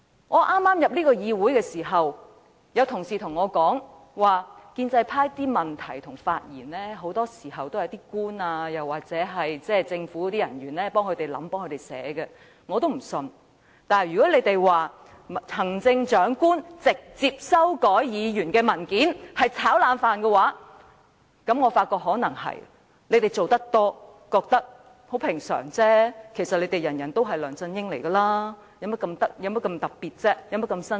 我剛進入議會時，曾有同事告訴我，建制派的質詢和發言很多時是由政府人員為他們撰寫，我聽到後也不大相信，但他們今天說我們指責行政長官直接修改議員的文件是"炒冷飯"，我便覺得這可能亦是事實，因為他們做得多，便認為輕鬆平常，其實他們每個人都是梁振英，所以有何特別、有何新鮮？